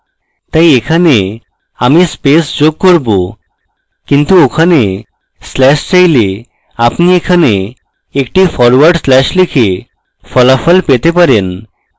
তাই এখানে আমি space যোগ করব কিন্তু ওখানে slash চাইলে আপনি এখানে একটা ফরওয়ার্ড slash লিখে ফলাফল পেতে পারেন